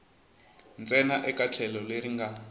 ntsena eka tlhelo leri nga